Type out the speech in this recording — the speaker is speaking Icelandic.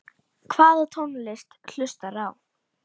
Hvaða tónlist hlustar þú á?